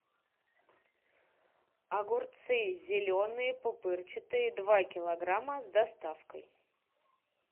огурцы зеленые пупырчатые два килограмма с доставкой